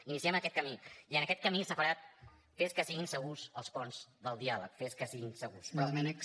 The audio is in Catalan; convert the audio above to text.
iniciem aquest camí i en aquest camí separat fes que siguin segurs els ponts del diàleg fes que siguin segurs